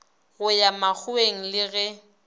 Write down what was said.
go ya makgoweng le ge